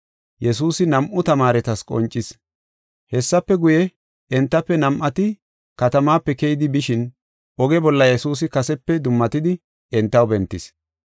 Hessafe guye, entafe nam7ati katamaape keyidi bishin, oge bolla Yesuusi kasepe dummatidi entaw bentis.